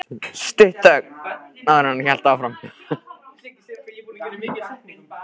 Stutt þögn, áður en hann hélt áfram.